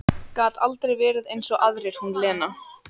Gat aldrei verið eins og aðrir, hún Lena.